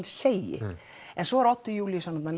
segi svo er Oddur Júlíusson þarna